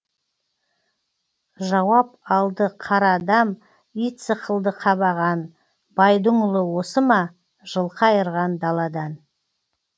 жауап алды қара адам ит сықылды қабаған байдың ұлы осы ма жылқы айырған даладан